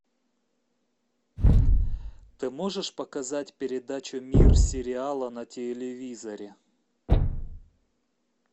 ты можешь показать передачу мир сериала на телевизоре